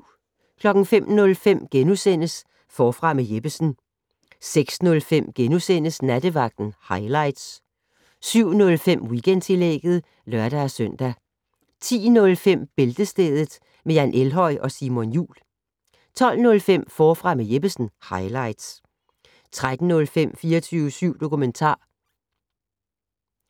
05:05: Forfra med Jeppesen * 06:05: Nattevagten highlights * 07:05: Weekendtillægget (lør-søn) 10:05: Bæltestedet med Jan Elhøj og Simon Jul 12:05: Forfra med Jeppesen - highlights 13:05: 24syv dokumentar